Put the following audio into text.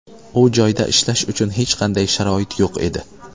U joyda ishlash uchun hech qanday sharoit yo‘q edi.